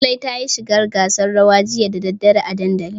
Zulai tayi shiga gasar rawa jiya da daddare a dandali.